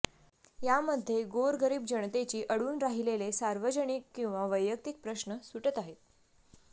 यामध्ये गोरगरीब जनतेची अडवून राहिलेले सार्वजनिक किंवा वैयक्तिक प्रश्न सुटत आहेत